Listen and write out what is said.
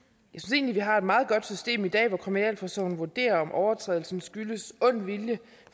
egentlig vi har et meget godt system i dag hvor kriminalforsorgen vurderer om overtrædelsen skyldes ond vilje